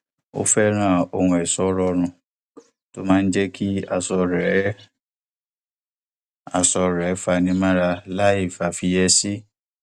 ó fẹràn ohun ẹṣọ rọrùn tó máa jẹ kí aṣọ rẹ aṣọ rẹ fani mọra láìfàfiyèsí